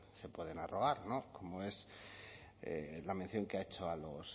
se pueden arrogar como es la mención que ha hecho